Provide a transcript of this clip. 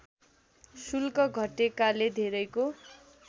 शुल्क घटेकाले धेरैको